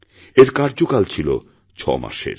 এর কার্যকাল ছিল ৬মাসের